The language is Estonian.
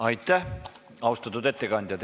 Aitäh, austatud ettekandja!